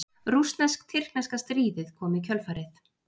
Rússnesk-tyrkneska stríðið kom í kjölfarið.